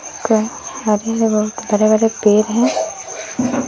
हरे भरे पेड़ हैं।